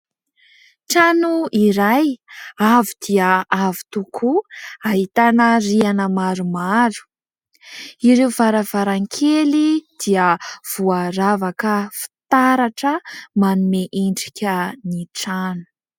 Trano iray avo dia avo tokoa ! ahitana rihana maromaro, ireo varavarankely dia voaravaka fitaratra manome endrika ny trano.